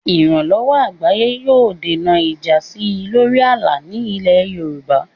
Ìrànlọ́wọ́ àgbáyé yóò dènà ìjà sí i lórí ààlà ní ilẹ̀ Yorùbá.